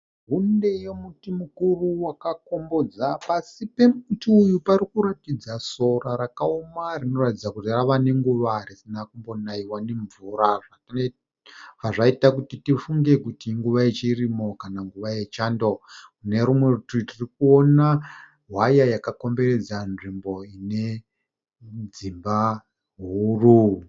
Hunde yemuti mukuru wakakombodza, pasi pemiti uyu parikuratidza sora rakaoma rinoratidza kuti rava nenguva risina kumbonaiwa ne mvura bva zvaita kuti tifunge kuti i nguva yechirimo kana kuti nguva yechando. Nerumwe rutivi tiri kuona hwaya yakakomberedza nzvimbo ine dzimba huru.